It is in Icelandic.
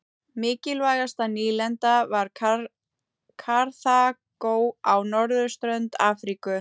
Mikilvægasta nýlendan var Karþagó á norðurströnd Afríku.